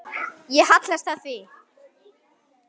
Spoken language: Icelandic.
Ég hallast að því.